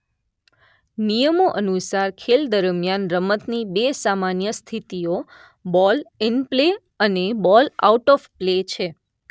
નિયમો અનુસાર ખેલ દરમિયાન રમતની બે સામાન્ય સ્થિતિઓ બોલ ઇન પ્લે અને બોલ આઉટ ઓફ પ્લે છે